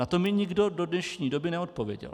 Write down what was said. Na to mi nikdo do dnešní doby neodpověděl.